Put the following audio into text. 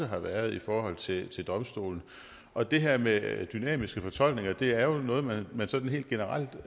har været i forhold til til domstolene og det her med dynamiske fortolkninger er jo noget man sådan helt generelt